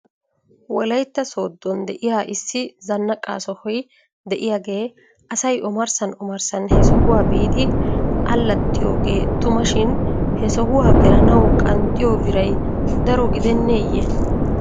Wolaytta sooddon de'iyaa issi zannaqqa sohoy de'iyaagee asay omarssan omarssan he sohuwaa biidi allaxxiyoogee tuma shin he sohuwaa gelanaw qanxxiyoo biray daro gideneeyye?